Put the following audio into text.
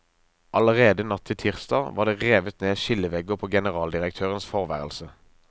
Allerede natt til tirsdag var det revet ned skillevegger på generaldirektørens forværelse.